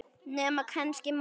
Nema kannski móðir hans.